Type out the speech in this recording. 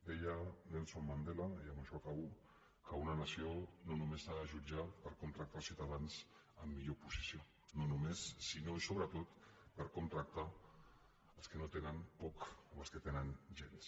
deia nelson mandela i amb això acabo que una nació no només s’ha de jutjar per com tracta els ciutadans en millor posició no només sinó i sobretot per com tracta els que no tenen poc o els que no tenen gens